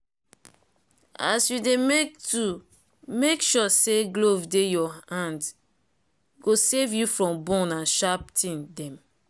as you dey make tool make sure say glove dey your hande go save you from burn and sharp tin dem